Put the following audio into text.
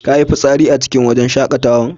Ka yi fisari a cikin wajn shakatawan?